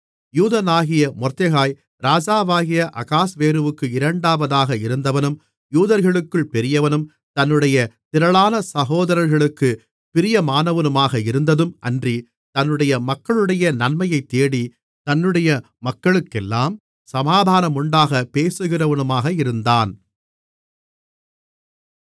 யூதனாகிய Mordecai ராஜாவாகிய அகாஸ்வேருவுக்கு இரண்டாவதாக இருந்தவனும் யூதர்களுக்குள் பெரியவனும் தன்னுடைய திரளான சகோதரர்களுக்குப் பிரியமானவனுமாக இருந்ததும் அன்றி தன்னுடைய மக்களுடைய நன்மையைத்தேடி தன்னுடைய மக்களுக்கெல்லாம் சமாதானமுண்டாகப் பேசுகிறவனுமாக இருந்தான்